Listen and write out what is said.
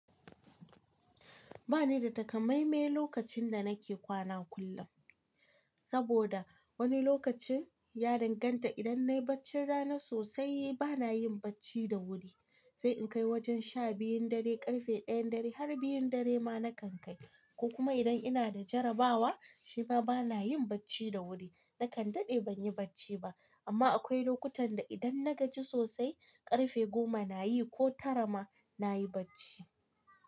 Ba ni da takamaime lokacin da nake kwana kullum. Saboda wani lokacin ya danganta idan nayi bacci rana sosai bana yin bacci da wuri, sai in kai wajen sha biyun dare, karfe ɗayan dare har biyun dare ma na kan kai. Ko kuma idan ina da jarabawa shima bana yin bacci da wuri. Nakan daɗe ban yi bacci ba. Amma akwai lokutan da idan na gaji sosai karfe goma na yi ko tara ma na yi bacci.